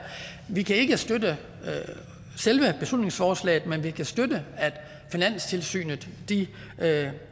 vi kan ikke støtte selve beslutningsforslaget men vi kan støtte at finanstilsynet